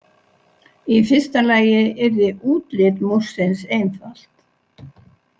Í fyrsta lagi yrði útlit Múrsins einfalt.